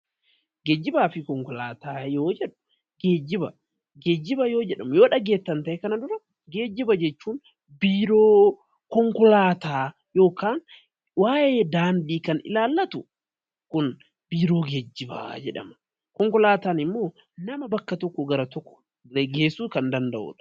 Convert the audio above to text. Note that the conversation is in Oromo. Geejjibaafi konkolaataa yeroo jennu geejjiba kan jedhu yoo dhageessan ta'e kana dura, geejjiba jechuun biiroo waa'ee konkoolaataa yookaan waa'ee daandii kan ilaallatu kun biiroo geejjibaa jedhama. Konkolaataan ammoo nama bakka tokkoo bakka tokkootti geessuu kan danda'udha.